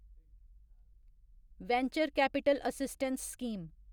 venture capital assistance scheme